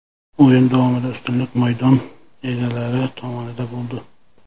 O‘yin davomida ustunlik maydon egalari tomonida bo‘ldi.